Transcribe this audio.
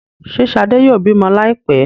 Ṣe shade yóò bimọ laipẹ?